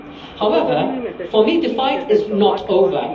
However, for me, the fight is not over.